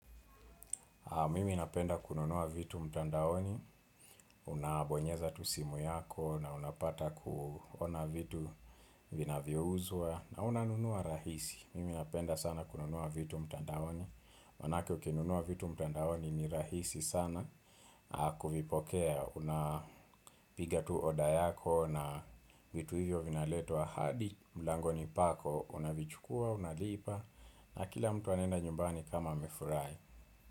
Mimi napenda kununua vitu mtandaoni, unabonyeza tu simu yako, na unapata kuona vitu vinayouzwa, na unanunua rahisi. Mimi napenda sana kununua vitu mtandaoni, manake ukinunua vitu mtandaoni ni rahisi sana, kuvipokea, unapiga tu oda yako, na vitu hivyo vinaletwa hadi, mlangoni pako, unavichukua, unalipa, na kila mtu anenda nyumbani kama amefurahi.